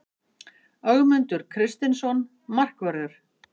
Ögmundur Kristinsson Markvörður